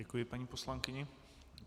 Děkuji paní poslankyni.